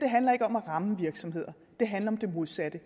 handler ikke om at ramme virksomheder det handler om det modsatte